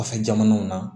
Kɔfɛ jamanaw na